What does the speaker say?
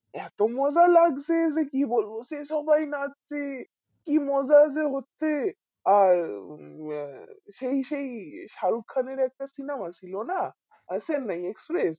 এত মজা লাগছে যে কি বলবো সে সবাই নাচছে কি মজাই যে হচ্ছে আর উম আহ সেই সেই সারুক খান এর একটা সিনেমা ছিল না আ চেন্নাই এক্সপ্রেস